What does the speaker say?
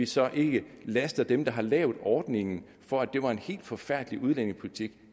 så ikke laster dem der har lavet ordningen for at det var en helt forfærdelig udlændingepolitik